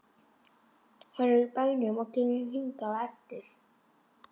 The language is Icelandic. Hann er í bænum og kemur hingað á eftir.